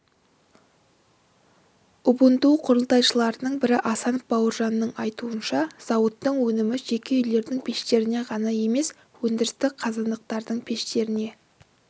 убунту құрылтайшыларының бірі асанов бауыржанның айтуынша зауыттың өнімі жеке үйлердің пештеріне ғана емес өндірістік қазандықтардың пештеріне